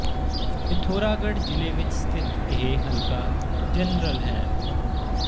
ਪਿਥੌਰਾਗੜ੍ਹ ਜ਼ਿਲੇ ਵਿੱਚ ਸਥਿੱਤ ਇਹ ਹਲਕਾ ਜਨਰਲ ਹੈ